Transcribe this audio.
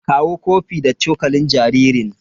Kawo kofi da cokalin jaririn.